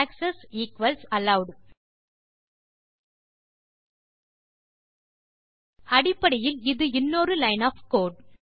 access equals allowed அடிப்படையில் இது இன்னொரு லைன் ஒஃப் கோடு